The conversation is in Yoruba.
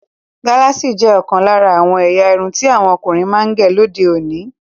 Galasi jẹ́ òkan lára àwọn èyà ìrún tí àwọn ọkùnrin máa ń gẹ́ lódè òní.